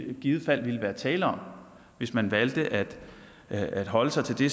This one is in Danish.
i givet fald ville være tale om hvis man valgte at at holde sig til det